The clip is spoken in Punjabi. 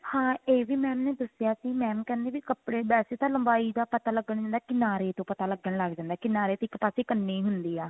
ਹਾਂ ਇਹ ਵੀ mam ਨੇ ਦੱਸਿਆ ਸੀ mam ਕਹਿੰਦੇ ਵੀ ਕੱਪੜੇ ਵੈਸੇ ਤਾਂ ਲੰਬਾਈ ਦਾ ਪਤਾ ਲੱਗਣ ਦਾ ਕਿਨਾਰੇ ਤੋਂ ਪਤਾ ਲੱਗਣ ਲੱਗ ਜਾਂਦਾ ਹੈ ਕਿਨਾਰੇ ਇੱਕ ਪਾਸੇ ਕੰਨੀ ਹੁੰਦੀ ਆ